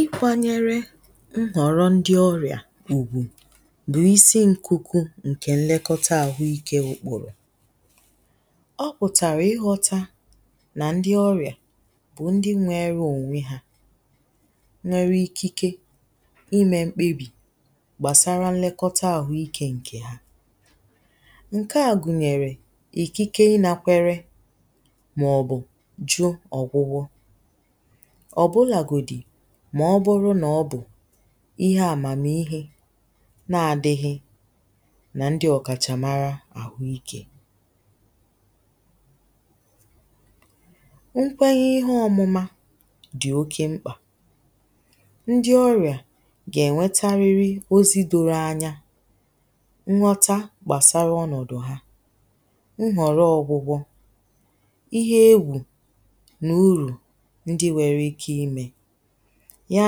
ikwȧnyere nghọ̀rọ̀ ndi ọrìà bụ̀ isi ǹkuku ǹkè nlekọta àhụ ikė kwụ̀rụ̀ ọ pụ̀tàrà ighọ̇ta nà ndi ọrìà bụ̀ ndi nwere ònwe ha nwere ikike imė mkpebì gbàsara nlekọta àhụ ikė ǹkè ha ǹke à gùnyèrè ìkike inȧkwere ọ̀bụ̀làgòdì mà ọbụrụ n’ọbụ̀ ihe àmàmihe na-adighi nà ndi ọ̀kàchàmara àhụ ikė nkwenye ihe ọmụ̇mȧ dì oke mkpà ndi ọrìà gà ènwetariri ozi doro anya nwọta gbàsara ọnọ̀dụ̀ ha nhọ̀rọ̀ ọgwụgwọ ihe ewu ndi nwere ike imė ya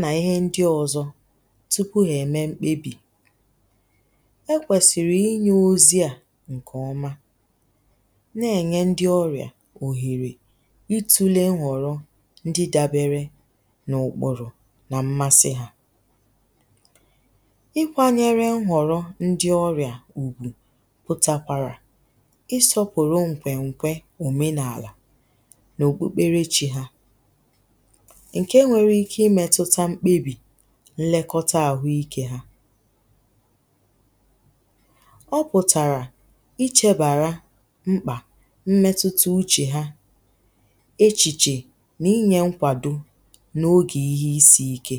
nà ihe ndi ọzọ̇ tupu hà ème mkpebì e kwèsìrì inyė ozi à ǹkè ọma na-ènye ndi ọrìà òhèrè itule nwọ̀rọ ndi dabere n’ụ̀kpụ̀rụ̀ nà mmasi ha ikwȧnyere nwọ̀rọ ndi ọrìà ùgwù pụtakwara isọpụ̀rụ ǹkwèǹkwe òmenààlà ǹke nwere ike imetuta mkpebì nnekọta àhụ ikė hȧọ pụ̀tàrà ichebàra mkpà mmetuta uchè ha echìchè nà inyė nkwàdo n’ogè ihe isi̇ ike